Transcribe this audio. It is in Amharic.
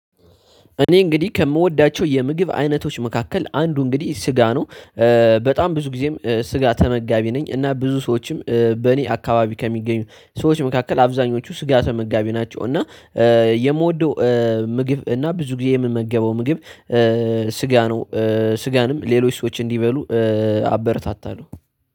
እኔ እንግዲህ ከምወዳቸው የምግብ አይነቶች መካከል አንዱ እንግዲህ ስጋ ነው። በጣም ብዙ ጊዜም ስጋ ተመጋቢ ነኝ እና ብዙ ሰዎችም በእኔ አካባቢ ከሚገኙ ሰዎች መካከል አብዛኞቹ ስጋ ተመጋቢ ናቸው። እና የምወደው ምግብ እና ብዙ ጊዜ የምመገበው ምግብ ስጋ ነው። ስጋንም ሌሎች ሰዎች እንዲበሉ አበረታታለው።